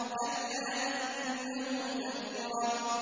كَلَّا إِنَّهُ تَذْكِرَةٌ